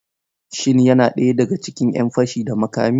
Shin yana ɗaya daga cikin 'yan fashi da makami?